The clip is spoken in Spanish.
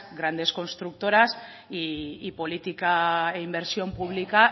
grandes constructoras y política e inversión pública